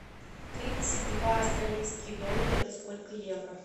тридцать два австралийских доллара это сколько евро